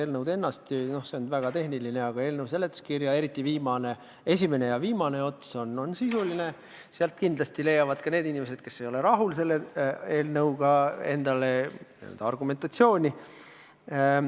Eelnõu ise on väga tehniline, aga seletuskirjast – eriti selle esimene ja viimane osa on sisuline – kindlasti leiavad ka need inimesed, kes ei ole selle muudatusega rahul, endale argumentatsiooni.